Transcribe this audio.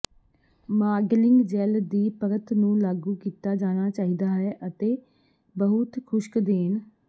modelling gel ਦੀ ਪਰਤ ਨੂੰ ਲਾਗੂ ਕੀਤਾ ਜਾਣਾ ਚਾਹੀਦਾ ਹੈ ਅਤੇ ਬਹੁਤ ਖੁਸ਼ਕ ਦੇਣ